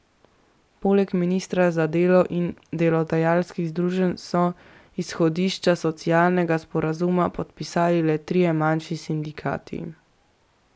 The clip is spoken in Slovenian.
Poleg ministra za delo in delodajalskih združenj so izhodišča socialnega sporazuma podpisali le trije manjši sindikati.